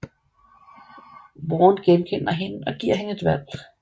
Warne genkender hende og giver hende et valg